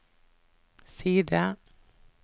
side